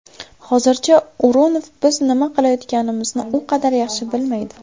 Hozircha O‘runov biz nima qilayotganimizni u qadar yaxshi bilmaydi.